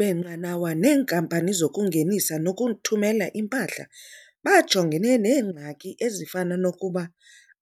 beenqanawa nenkampani zokungenisa nokuthumela impahla bajongane neengxaki ezifana nokuba